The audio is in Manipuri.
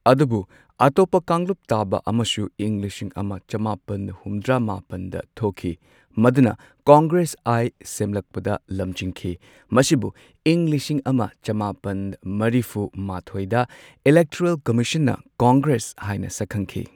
ꯑꯗꯨꯕꯨ ꯑꯇꯣꯞꯄ ꯀꯥꯡꯂꯨꯞ ꯇꯥꯕ ꯑꯃꯁꯨ ꯏꯪ ꯂꯤꯁꯤꯡ ꯑꯃ ꯆꯃꯥꯄꯟ ꯍꯨꯝꯗ꯭ꯔꯥ ꯃꯥꯄꯟꯗ ꯊꯣꯛꯈꯤ꯫ ꯃꯗꯨꯅ ꯀꯪꯒ꯭ꯔꯦꯁ ꯑꯥꯏ ꯁꯦꯝꯂꯛꯄꯗ ꯂꯝꯖꯤꯡꯈꯤ꯫ ꯃꯁꯤꯕꯨ ꯏꯪ ꯂꯤꯁꯤꯡ ꯑꯃ ꯆꯃꯥꯄꯟ ꯃꯔꯤꯐꯨ ꯃꯥꯊꯣꯏꯗ ꯏꯂꯦꯛꯇꯣꯔꯦꯜ ꯀꯝꯃꯤꯁꯟꯅ ꯀꯪꯒ꯭ꯔꯦꯁ ꯍꯥꯏꯅ ꯁꯛ ꯈꯪꯈꯤ꯫